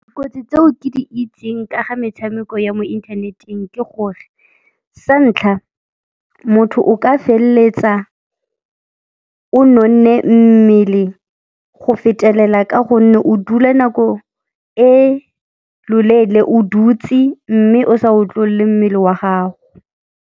Dikotsi tseo ke di itseng ka ga metshameko ya mo inthaneteng ke gore sa ntlha motho o ka felletsa o nonne mmele go fetelela ka gonne o dula nako e loleele o dutse mme o sa otlolle mmele wa gago.